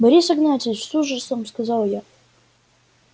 борис игнатьевич с ужасом сказал я